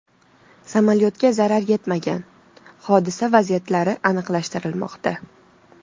Samolyotga zarar yetmagan, hodisa vaziyatlari aniqlashtirilmoqda.